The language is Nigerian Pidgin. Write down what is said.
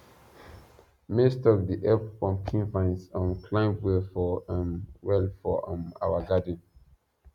um maize stalk dey help pumpkin vines um climb well for um well for um our garden